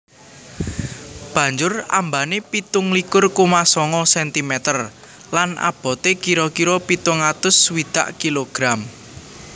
Banjur ambané pitung likur koma sanga sentimeter lan aboté kira kira pitung atus swidak kilogram